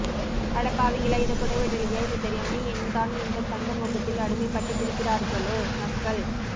அடப்பாவிங்களா இத கூட விடலியா இது தெரியாம என் தான் இந்த தங்க மோகத்தில் அடிமை பட்டு கிடக்கிரார்களோ மக்கள்